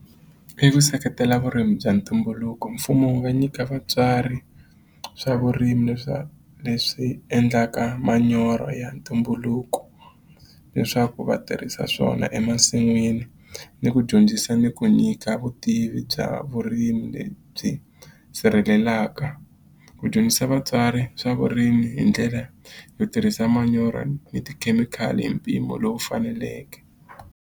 I ku seketela vurimi bya ntumbuluko mfumo wu nga nyika vatswari swa vurimi le swa leswi endlaka manyoro ya ntumbuluko leswaku va tirhisa swona emasin'wini ni ku dyondzisa ni ku nyika vutivi bya vurimi lebyi sirhelelaka ku dyondzisa vatswari swa vurimi hi ndlela yo tirhisa manyoro ni tikhemikhali hi mpimo lowu faneleke.